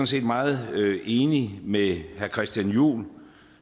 set meget enig med herre christian juhl